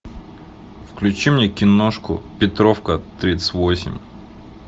включи мне киношку петровка тридцать восемь